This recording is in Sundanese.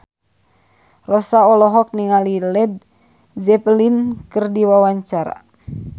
Rossa olohok ningali Led Zeppelin keur diwawancara